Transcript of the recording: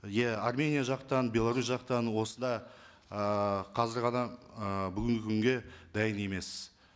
иә армения жақтан беларусь жақтан осыда ы қазір ғана ы бүгінгі күнге дайын емес